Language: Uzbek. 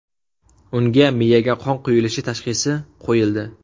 Unga miyaga qon quyilishi tashxisi qo‘yildi.